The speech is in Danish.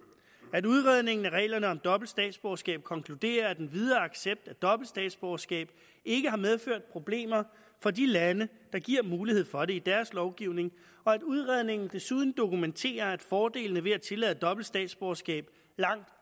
at udredningen af reglerne om dobbelt statsborgerskab konkluderer at en videre accept af dobbelt statsborgerskab ikke har medført problemer for de lande der giver mulighed for det i deres lovgivning og at udredningen desuden dokumenterer at fordelene ved at tillade dobbelt statsborgerskab langt